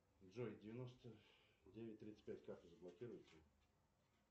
джой девяносто девять тридцать пять карту заблокируйте